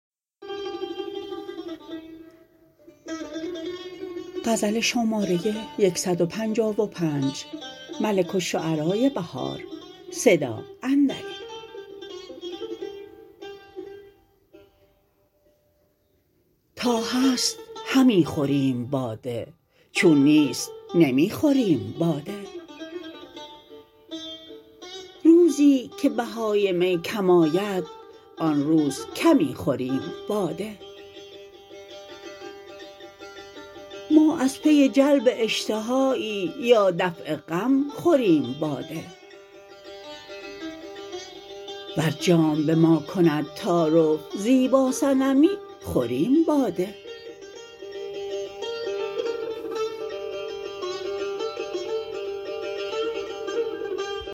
تا هست همی خوریم باده چون نیست نمی خوربم باده روزی که بهای می کم آید آن روزکمی خوریم باده ما از پی جلب اشتهایی یا دفع غم خوربم باده ور جام به ماکند تعارف زیبا صنمی خوریم باده